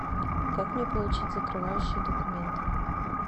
как мне получить закрывающие документы